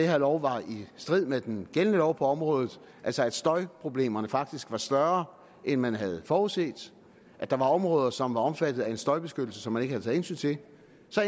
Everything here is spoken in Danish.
her lov var i strid med den gældende lov på området altså at støjproblemerne faktisk var større end man havde forudset og at der var områder som var omfattet af en støjbeskyttelse som man ikke havde taget hensyn til